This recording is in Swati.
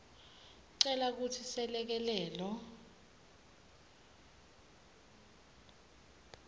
cela kutsi selekelelo